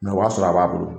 o b'a sɔrɔ a b'a bolo